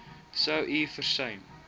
sou u versuim